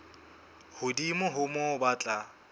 hodimo ho moo ba tla